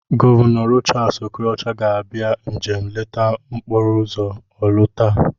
Gọvanọ Rochas Okorocha ga-abịa njem nleta n'okporoụzọ Orlu taa.